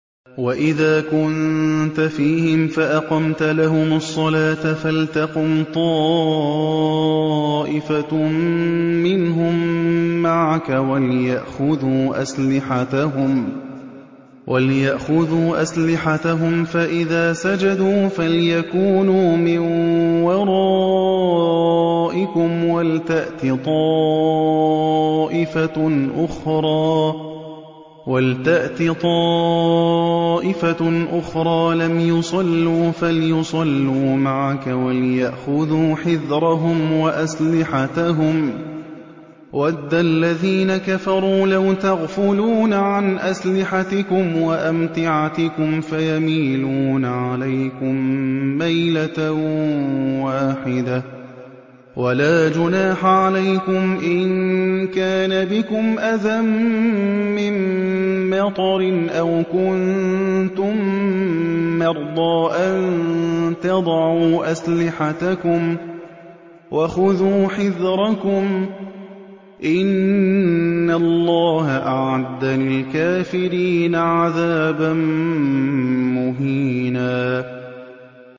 وَإِذَا كُنتَ فِيهِمْ فَأَقَمْتَ لَهُمُ الصَّلَاةَ فَلْتَقُمْ طَائِفَةٌ مِّنْهُم مَّعَكَ وَلْيَأْخُذُوا أَسْلِحَتَهُمْ فَإِذَا سَجَدُوا فَلْيَكُونُوا مِن وَرَائِكُمْ وَلْتَأْتِ طَائِفَةٌ أُخْرَىٰ لَمْ يُصَلُّوا فَلْيُصَلُّوا مَعَكَ وَلْيَأْخُذُوا حِذْرَهُمْ وَأَسْلِحَتَهُمْ ۗ وَدَّ الَّذِينَ كَفَرُوا لَوْ تَغْفُلُونَ عَنْ أَسْلِحَتِكُمْ وَأَمْتِعَتِكُمْ فَيَمِيلُونَ عَلَيْكُم مَّيْلَةً وَاحِدَةً ۚ وَلَا جُنَاحَ عَلَيْكُمْ إِن كَانَ بِكُمْ أَذًى مِّن مَّطَرٍ أَوْ كُنتُم مَّرْضَىٰ أَن تَضَعُوا أَسْلِحَتَكُمْ ۖ وَخُذُوا حِذْرَكُمْ ۗ إِنَّ اللَّهَ أَعَدَّ لِلْكَافِرِينَ عَذَابًا مُّهِينًا